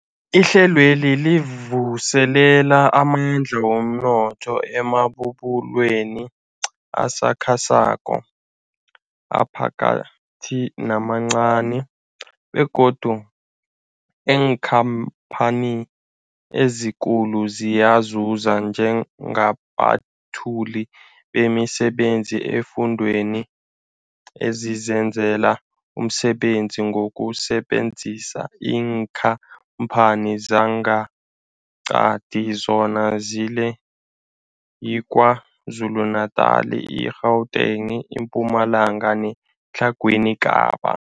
Ihlelweli livuselela amandla womnotho emabubulweni asakhasako, aphakathi namancani begodu neenkhamphani ezikulu ziyazuza njengabethuli bemisebenzi eemfundeni ezizenzela umsebenzi ngokusebenzisa iinkhamphani zangeqadi, zona ngilezi, yiKwaZulu-Natala, i-Gauteng, iMpumalanga neTlhagwini Kapa.